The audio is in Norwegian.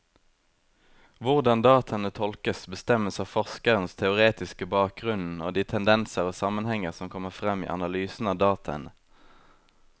Hvordan dataene tolkes, bestemmes av forskerens teoretiske bakgrunnen og de tendenser og sammenhenger som kommer frem i analysen av dataene.